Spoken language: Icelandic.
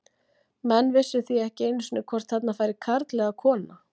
Menn vissu því ekki einu sinni hvort þarna færi karl eða kona.